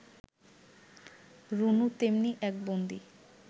রুনু তেমনি এক বন্দী